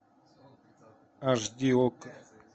аш ди окко